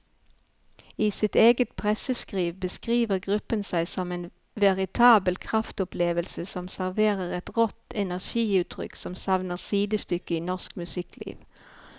I sitt eget presseskriv beskriver gruppen seg som en veritabel kraftopplevelse som serverer et rått energiutrykk som savner sidestykke i norsk musikkliv.